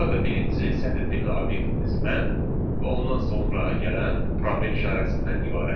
Burada birinci sətr tipli obyektimiz mən və ondan sonra gələn probel işarəsindən ibarətdir.